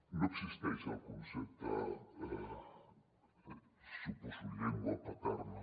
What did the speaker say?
no existeix el concepte suposo llengua paterna